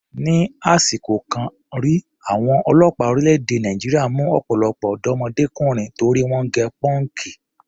Ni àsìkò kan rí, àwọn ọlọ́pàá orílẹ̀-èdè Nàìjíríà mú ọ̀pọ̀lọpọ̀ ọ̀dọ́mọdékùnrin torí wọ́n gẹ pọ́ǹkì.